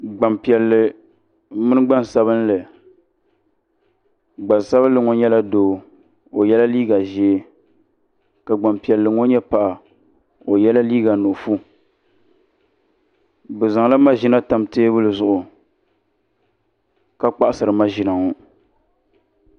gban piɛli mini gban sabinli gban sabinli ŋɔ nyɛ la do o yɛla liga ʒiɛ ka gban piɛli ŋɔ nyɛ paɣ' o yɛla liga nuɣiƒɔ bɛ zaŋ la maʒɛna tam tɛbuli zuɣ' ka kpaɣisiri maʒɛna ŋɔ